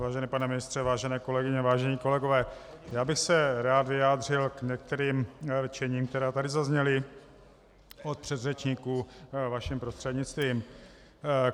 Vážený pane ministře, vážené kolegyně, vážení kolegové, já bych se rád vyjádřil k některým rčením, která tady zazněla od předřečníků, vaším prostřednictvím.